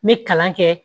Me kalan kɛ